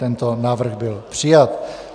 Tento návrh byl přijat.